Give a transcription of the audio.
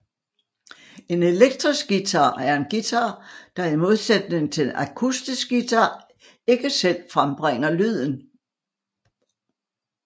En elektrisk guitar er en guitar der i modsætning til en akustisk guitar ikke selv frembringer lyden